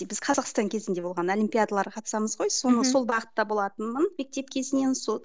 біз қазақстан кезінде болған олимпиадаларға қатысамыз ғой мхм соның сол бағытта болатынмын мектеп кезінен сол